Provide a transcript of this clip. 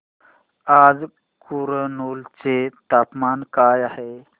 आज कुरनूल चे तापमान काय आहे